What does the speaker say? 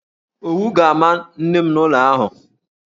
Owu ga-ama nne m n'ụlọ ahụ.